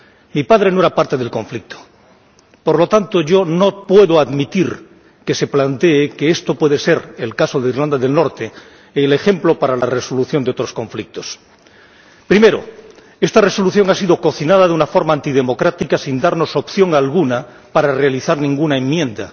Mi padre no era parte del conflicto, por lo tanto yo no puedo admitir que se plantee que esto puede ser el caso de Irlanda del Norte, el ejemplo para la resolución de otros conflictos. Primero, esta Resolución ha sido cocinada de una forma antidemocrática, sin darnos opción alguna para realizar ninguna enmienda.